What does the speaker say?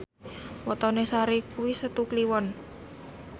wetone Sari kuwi Setu Kliwon